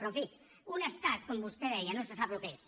però en fi un estat com vostè deia no se sap el que és